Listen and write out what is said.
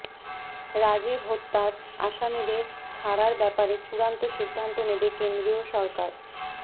রাজীব হত্যার আসামীদের ছাড়ার ব্যাপারে চূড়ান্ত সিদ্ধান্ত নেবে কেন্দ্রীয় সরকার